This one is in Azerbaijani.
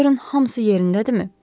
Görün hamısı yerindədirmi?